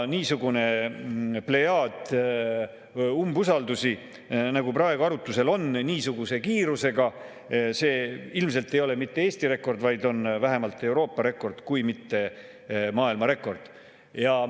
Niisugune plejaad usaldusi, nagu praegu arutlusel on, niisuguse kiirusega – see ilmselt ei ole mitte Eesti rekord, vaid on vähemalt Euroopa rekord, kui mitte maailmarekord.